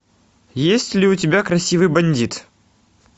есть ли у тебя красивый бандит